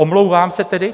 Omlouvám se tedy."